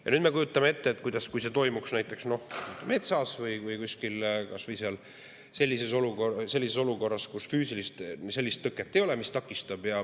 Ja nüüd kujutame ette, kui see toimuks näiteks metsas või kuskil mujal, kus ei ole füüsilist tõket, mis takistab.